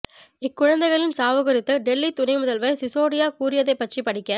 இக்குழந்தைகளின் சாவு குறித்து டெல்லி துணை முதல்வர் சிசோடியா கூறியதைப் பற்றி படிக்க